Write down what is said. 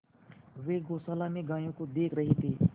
वे गौशाला में गायों को देख रहे थे